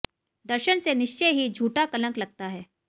दर्शन से निश्चय ही झूठा कलंक लगता है